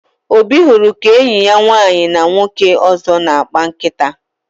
Obi hụrụ ka enyi ya nwaanyị na nwoke ọzọ na-akpa nkata